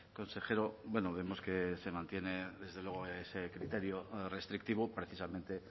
consejero bueno vemos que se mantiene desde luego ese criterio restrictivo precisamente